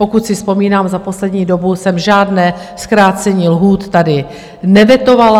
Pokud si vzpomínám, za poslední dobu jsem žádné zkrácení lhůt tady nevetovala.